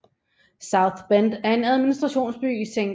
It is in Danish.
South Bend er administrationsby i St